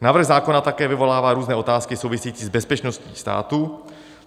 Návrh zákona také vyvolává různé otázky související s bezpečností státu.